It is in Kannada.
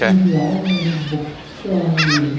ಇಲ್ಲಿ ಯಾವದೋ ಒಂದು ಬುಕ್ ಅಂಗಡಿ.